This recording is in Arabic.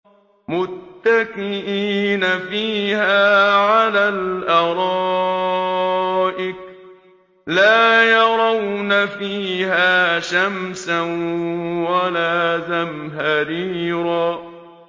مُّتَّكِئِينَ فِيهَا عَلَى الْأَرَائِكِ ۖ لَا يَرَوْنَ فِيهَا شَمْسًا وَلَا زَمْهَرِيرًا